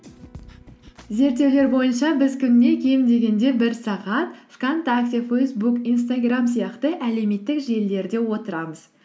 зерттеулер бойынша біз күніне кем дегенде бір сағат вконтакте фейсбук инстаграм сияқты әлеуметтік желілерде отырамыз